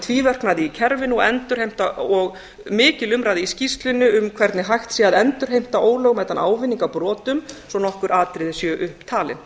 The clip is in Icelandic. tvíverknaði í kerfinu og mikil umræða í skýrslunni um hvernig hægt sé að endurheimta ólögmætan ávinning af brotum svo nokkur atriði séu upptalin